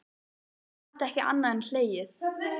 Ég gat ekki annað en hlegið.